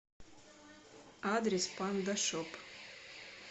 адрес панда шоп